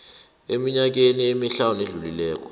eminyakeni emihlanu edlulileko